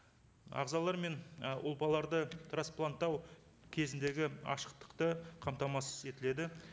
ағзалар мен і ұлпаларды транспланттау кезіндегі ашықтықты қамтамасыз етіледі